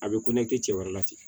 A bɛ ko nege cɛ wɛrɛ tɛ